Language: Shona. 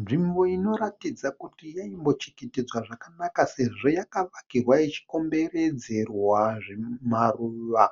Nzvimbo inoratidza kuti yaimbochengetedzwa zvakanaka sezvo yakavakirwa ichikomberedzerwa zvimaruva